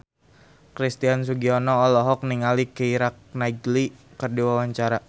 Christian Sugiono olohok ningali Keira Knightley keur diwawancara